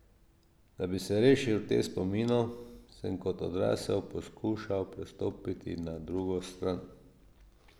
Da bi se rešil teh spominov, sem kot odrasel poskušal prestopiti na drugo stran.